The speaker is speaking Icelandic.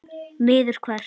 Niður hvert?